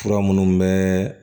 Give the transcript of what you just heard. Fura minnu bɛ